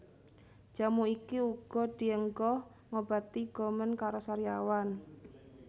Jamu iki uga dienggo ngobati gomen karo sariawan